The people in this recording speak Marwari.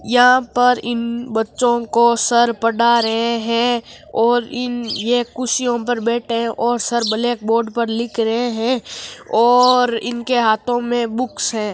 यहाँ पर इन बच्चों को सर पढ़ा रहे है और ये इन कुर्सियों पर बैठे है और सर ब्लैंक बोर्ड पर लिख रहे है और इनके हाथो में बुक्स है।